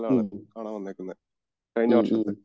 ആ .....